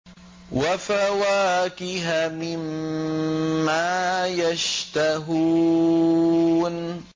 وَفَوَاكِهَ مِمَّا يَشْتَهُونَ